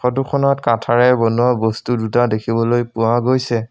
ফটোখনত কাঠৰে বনোৱা বস্তু দুটা দেখিবলৈ পোৱা গৈছে।